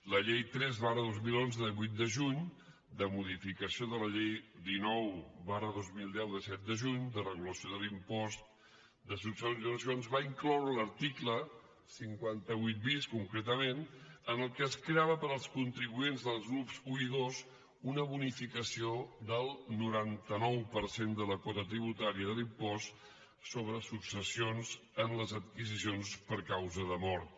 la llei tres dos mil onze de vuit de juny de modificació de la llei dinou dos mil deu de set de juny de regulació de l’impost de successions va incloure l’article cinquanta vuit bis concretament en què es creava per als contribuents dels grups i i ii una bonificació del noranta nou per cent de la quota tributària de l’impost sobre successions en les adquisicions per causa de mort